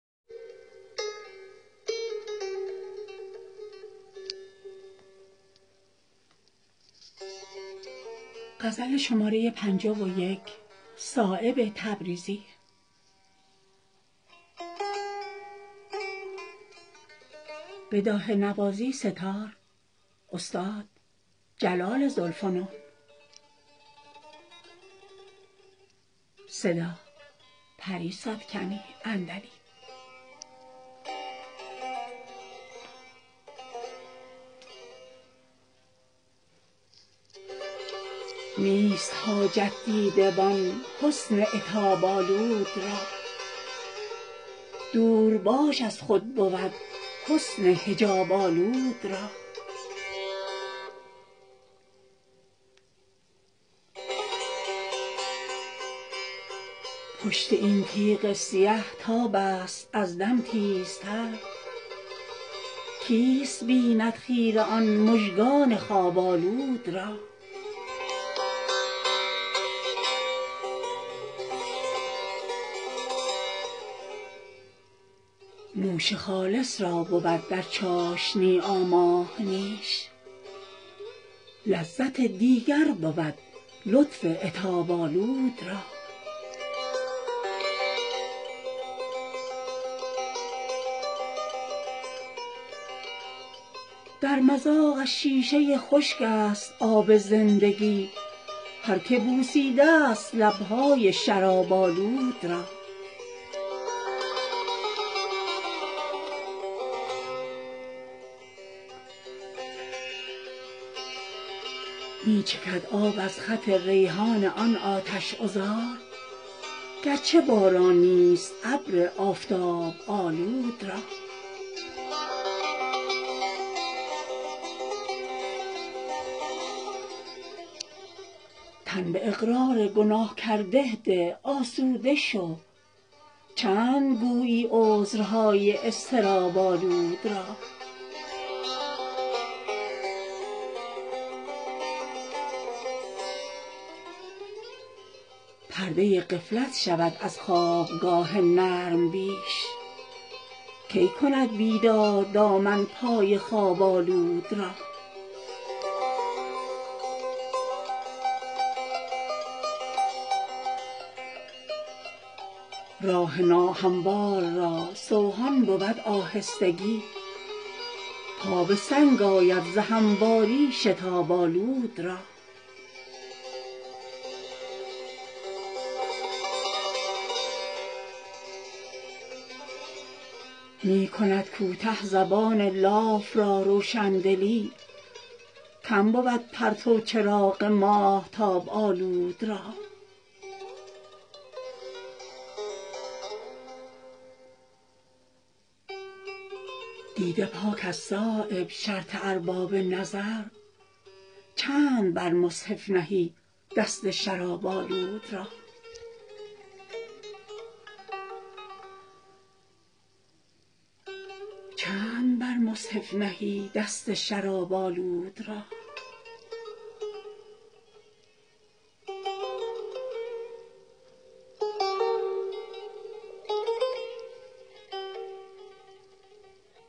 نیست حاجت دیده بان حسن عتاب آلود را دور باش از خود بود حسن حجاب آلود را پشت این تیغ سیه تاب است از دم تیزتر کیست بیند خیره آن مژگان خواب آلود را نوش خالص را بود در چاشنی آماده نیش لذت دیگر بود لطف عتاب آلود را در مذاقش شیشه خشک است آب زندگی هر که بوسیده است لب های شراب آلود را می چکد آب از خط ریحان آن آتش عذار گر چه باران نیست ابر آفتاب آلود را تن به اقرار گناه کرده ده آسوده شو چند گویی عذرهای اضطراب آلود را پرده غفلت شود از خوابگاه نرم بیش کی کند بیدار دامن پای خواب آلود را راه ناهموار را سوهان بود آهستگی پا به سنگ آید ز همواری شتاب آلود را می کند کوته زبان لاف را روشندلی کم بود پرتو چراغ ماهتاب آلود را دیده پاک است صایب شرط ارباب نظر چند بر مصحف نهی دست شراب آلود را